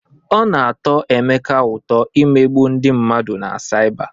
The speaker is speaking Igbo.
Ọ na-atọ Emeka ụtọ imegbu ndị mmadụ na saịba.